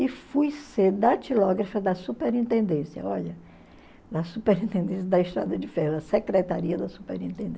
E fui ser datilógrafa da superintendência, olha, da superintendência da Estrada de Ferro, a secretaria da